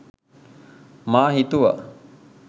මා හිතුවා